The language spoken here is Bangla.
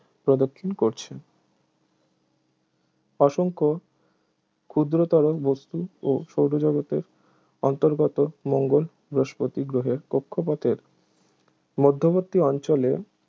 প্রদক্ষিণ করছে অসংখ্য ক্ষুদ্রতর বস্তু ও সৌরজগতের অন্তর্গত মঙ্গল বৃহস্পতি গ্রহ কক্ষপথের মধ্যবর্তী অঞ্চলে